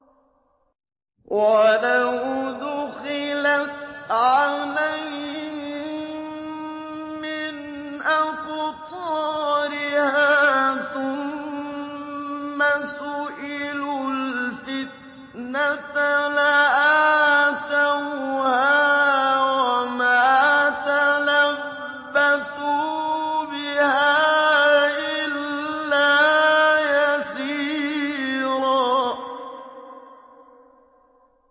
وَلَوْ دُخِلَتْ عَلَيْهِم مِّنْ أَقْطَارِهَا ثُمَّ سُئِلُوا الْفِتْنَةَ لَآتَوْهَا وَمَا تَلَبَّثُوا بِهَا إِلَّا يَسِيرًا